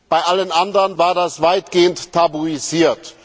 Bei allen anderen war das weitgehend tabuisiert.